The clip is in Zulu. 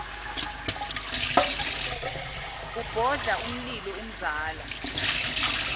ubhodla umlilo umzala